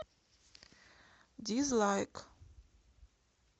дизлайк